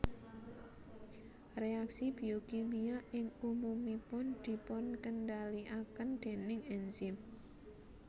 Reaksi biokimia ing umumipun dipunkendaliaken déning enzim